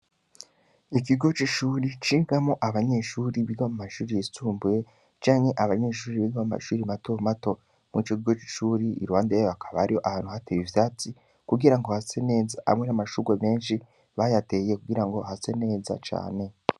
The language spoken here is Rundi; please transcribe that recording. Ikigo c'ishuri, cigamwo abanyeshuri biga mu mashuri yisumbuye, canke abanyeshuri biga mu mashuri mato mato, muri ico kigo c'ishuri, iruhande y'aho, hakaba hariho ahantu hatewe ivyatsi, kugira ngo hase neza, hamwe n'amashurwe menshi, bayateye kugira ngo hase neza cane.